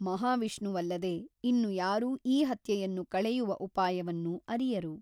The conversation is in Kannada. ಮಹಾವಿಷ್ಣುವಲ್ಲದೆ ಇನ್ನು ಯಾರೂ ಈ ಹತ್ಯೆಯನ್ನು ಕಳೆಯುವ ಉಪಾಯವನ್ನು ಅರಿಯರು.